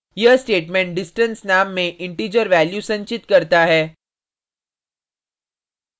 यह statement distance name में integer value संचित करता है